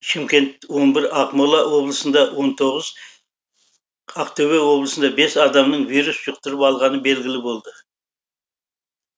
шымкент он бір ақмола облысында он тоғыз ақтөбе облысында бес адамның вирус жұқтырып алғаны белгілі болды